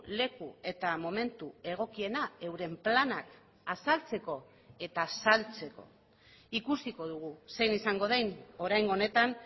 leku eta momentu egokiena euren planak azaltzeko eta saltzeko ikusiko dugu zein izango den oraingo honetan